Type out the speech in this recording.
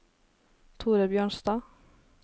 Thore Bjørnstad